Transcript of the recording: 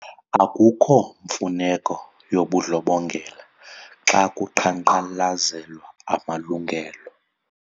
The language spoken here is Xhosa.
Akukho mfuneko yobundlobongela xa kuqhankqalazelwa amalungelo.